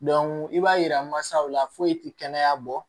i b'a yira masaw la foyi tɛ kɛnɛya bɔ